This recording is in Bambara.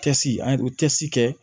Cɛsiri an ye cɛsiri kɛ